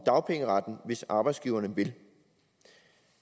dagpengeretten hvis arbejdsgiverne vil